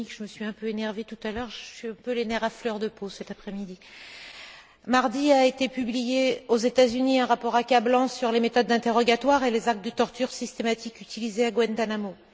Sonik car je me suis un peu énervée tout à l'heure. J'ai un peu les nerfs à fleur de peau cet après midi. Mardi a été publié aux États Unis un rapport accablant sur les méthodes d'interrogatoire et les actes de torture systématiques utilisés à Guantánamo.